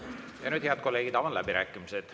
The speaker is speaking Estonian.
Ja nüüd, head kolleegid, avan läbirääkimised.